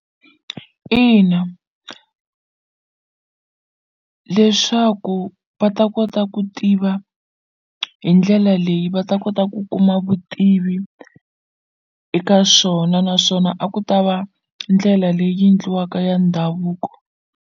Ina leswaku va ta kota ku tiva hi ndlela leyi va ta kota ku kuma vutivi eka swona naswona a ku ta va ndlela leyi endliwaka ya ndhavuko.